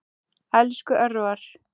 Elsku Örvar.